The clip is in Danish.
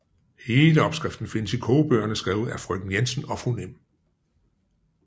Hele opskriften findes i kogebøgerne skrevet af Frøken Jensen og Fru Nimb